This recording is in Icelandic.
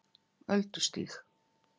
Öldustíg